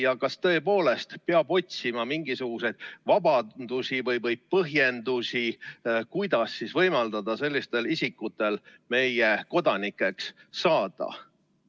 Ja kas tõepoolest peab otsima mingisuguseid vabandusi või põhjendusi, kuidas võimaldada sellistel isikutel meie riigi kodanikeks saada?